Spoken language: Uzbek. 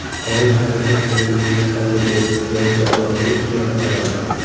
Tayanch harakat tizimining kasalligi – yassioyoqlik deb ataladi.